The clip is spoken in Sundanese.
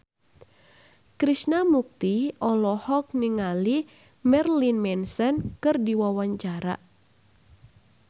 Krishna Mukti olohok ningali Marilyn Manson keur diwawancara